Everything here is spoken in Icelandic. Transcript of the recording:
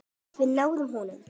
Við náðum honum.